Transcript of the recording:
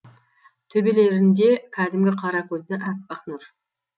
төбелерінде кәдімгі қаракөзді әппақ нұр